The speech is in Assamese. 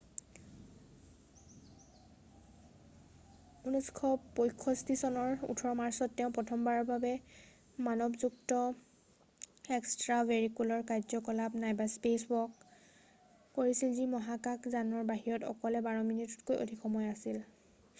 "1965 চনৰ 18 মাৰ্চত তেওঁ প্ৰথমবাৰ মানৱযুক্ত এক্সট্ৰাভেৰিকুলাৰ কাৰ্য্যকলাপ eva নাইবা "স্পেচৱাক" কৰিছিল যি মহাকাশ যানৰ বাহিৰত অকলে বাৰ মিনিটতকৈ অধিক সময় আছিল৷""